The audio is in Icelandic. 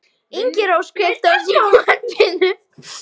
Ingirós, kveiktu á sjónvarpinu.